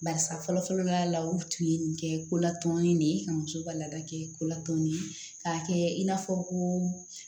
Barisa fɔlɔ fɔlɔ ka la u tun ye nin kɛ ko latumini de ye ka muso ka laada kɛ ko latɔnni k'a kɛ i n'a fɔ ko